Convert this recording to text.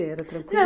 Era tranquilo?